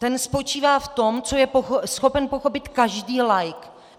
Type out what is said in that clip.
Ten spočívá v tom, co je schopen pochopit každý laik.